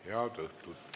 Head õhtut!